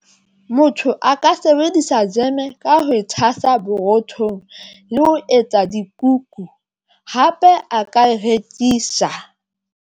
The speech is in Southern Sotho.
Motho aka sebedisa jeme ka ho thwasa borothong le ho etsa dikuku hape a ka e rekisa.